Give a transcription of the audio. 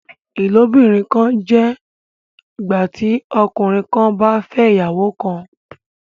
ilobìrin kán jẹ ìgbàtí ọkùnrin kán bà fè ìyàwó kán.